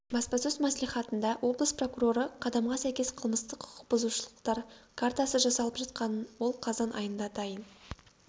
баспасөз мслихатында облыс прокуроры қадамға сәйкес қылмыстық құқық бұзушылықтар картасы жасалып жатқанын ол қазан айында дайын